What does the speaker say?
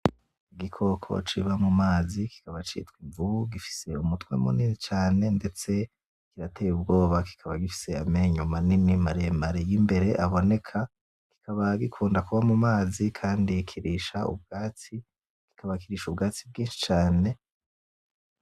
Igikoko kiba mumazi kikaba citwa Imvubu gifise umutwe munini cane ndetse kirateye ubwoba kikaba gifise amenyo manini maremare yimbere aboneka gikunda kuba mumazi Kandi kirisha ubwatsi bwinshi cane.